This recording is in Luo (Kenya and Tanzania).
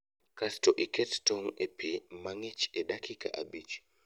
Kasto iket tong' e pii mang'ich e dakika abich